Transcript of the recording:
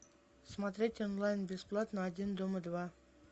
смотреть онлайн бесплатно один дома два